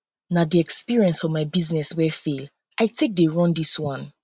na di experience from my business wey fail i take dey run dis one